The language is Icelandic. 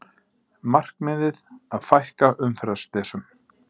Markmiðið að fækka umferðarslysum